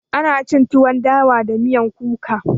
Ana cin tuwon dawa da miyan kuka.